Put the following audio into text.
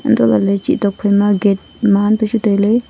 hanto lele chi tok phai ma gate maan pu chu tai le.